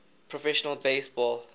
professional base ball